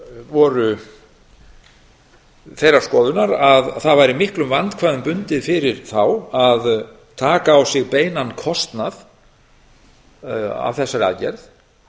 voru þeirrar skoðunar að það væri miklum vandkvæðum bundið fyrir þá að taka á sig beinan kostnað af þessari aðgerð